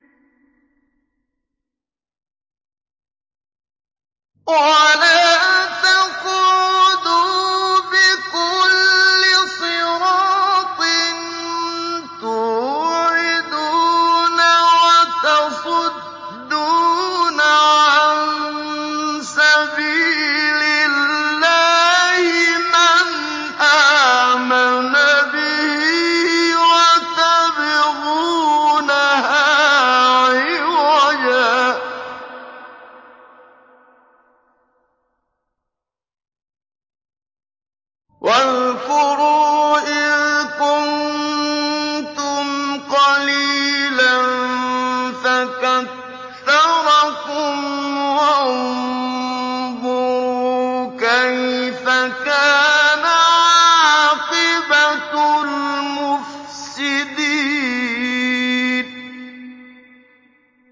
وَلَا تَقْعُدُوا بِكُلِّ صِرَاطٍ تُوعِدُونَ وَتَصُدُّونَ عَن سَبِيلِ اللَّهِ مَنْ آمَنَ بِهِ وَتَبْغُونَهَا عِوَجًا ۚ وَاذْكُرُوا إِذْ كُنتُمْ قَلِيلًا فَكَثَّرَكُمْ ۖ وَانظُرُوا كَيْفَ كَانَ عَاقِبَةُ الْمُفْسِدِينَ